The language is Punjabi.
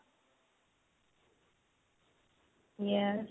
yes